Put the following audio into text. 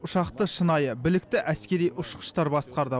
ұшақты шынайы білікті әскери ұшқыштар басқарды